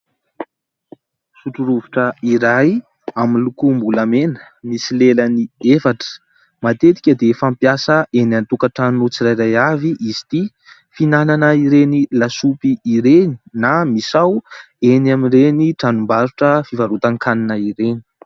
Sotro rovitra iray amin'ny lokombolamena, misy lelany efatra. Matetika dia fampiasa eny an-tokantrano tsirairay avy izy ity. Finanana ireny lasopy ireny na misao eny amin'ireny trano fivarotan-kanina ireny.